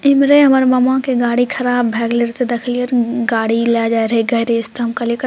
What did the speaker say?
इमहरे हमर मामा के गाड़ी खराब भए गेल रहे ते देखलिए रहे गाड़ी ले जाय रहे गैरेज ते हम कहलिए --